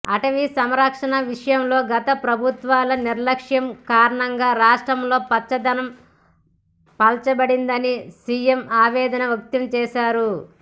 అటవీ సంరక్షణ విషయంలో గత ప్రభుత్వాల నిర్లక్ష్యం కారణంగా రాష్ట్రంలో పచ్చదనం పల్చబడిందని సిఎం ఆవేదన వ్యక్తం చేశారు